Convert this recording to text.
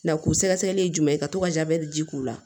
Na k'u sɛgɛsɛgɛ jumɛn ka to ka jabɛti ji k'u la